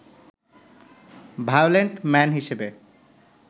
violent man হিসেবে